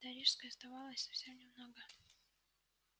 до рижской оставалось совсем немного